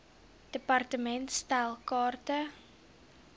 department stel kaarte